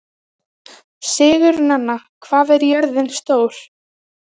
Sigurnanna, hvað er jörðin stór?